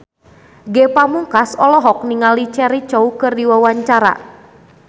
Ge Pamungkas olohok ningali Cheryl Crow keur diwawancara